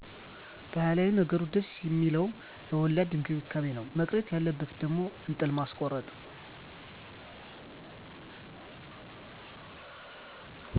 ባህላዊ ነገሩ ደስ ሚለዉ ለወላድ እክብካቤ ነው መቅረት ያለበት ደግሞ እጥል ማስኮረጥ